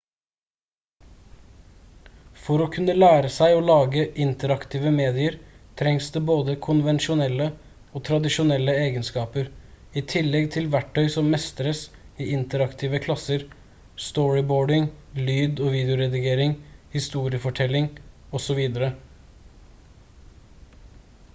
for å kunne lære seg å lage interaktive medier trengs det både konvensjonelle og tradisjonelle egenskaper i tillegg til verktøy som mestres i interaktive klasser storyboarding lyd- og videoredigering historiefortelling osv.